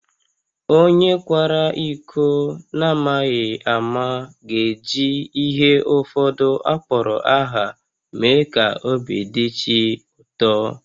Onye kwara iko n’amaghị ama ga-eji ihe ụfọdụ akpọrọ aha mee ka obi dị chi ụtọ